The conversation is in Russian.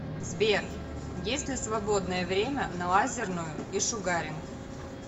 сбер есть ли свободное время на лазерную и шугаринг